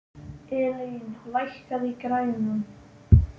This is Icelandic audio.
Elín, lækkaðu í græjunum.